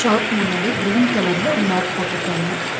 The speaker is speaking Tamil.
ஷாப் முன்னாடி கிரீன் கலர் ல ஒரு மேட் போட்டுருக்காங்க.